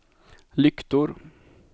lyktor